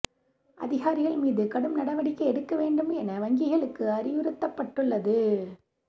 அதிகாரிகள் மீது கடும் நடவடிக்கை எடுக்க வேண்டும் என வங்கிகளுக்கு அறிவுறுத்தப்பட்டுள்ளது